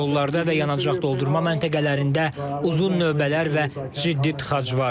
Yollarda və yanacaq doldurma məntəqələrində uzun növbələr və ciddi tıxac var.